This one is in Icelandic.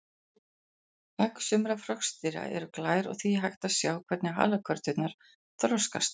Egg sumra froskdýra eru glær og því hægt að sjá hvernig halakörturnar þroskast.